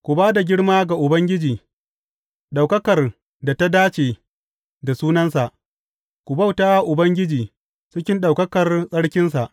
Ku ba da girma ga Ubangiji, ɗaukakar da ta dace da sunansa; ku bauta wa Ubangiji cikin ɗaukakar tsarkinsa.